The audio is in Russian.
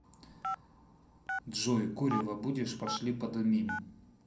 джой курево будешь пошли подымим